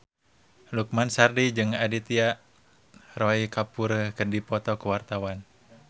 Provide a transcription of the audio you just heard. Lukman Sardi jeung Aditya Roy Kapoor keur dipoto ku wartawan